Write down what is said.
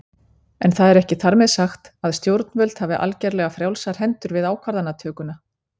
En það er ekki þar með sagt að stjórnvöld hafi algerlega frjálsar hendur við ákvarðanatökuna.